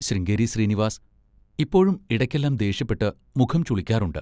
ശൃംഗേരി ശ്രീനിവാസ് ഇപ്പോഴും ഇടക്കെല്ലാം ദേഷ്യപ്പെട്ട് മുഖം ചുളിക്കാറുണ്ട്.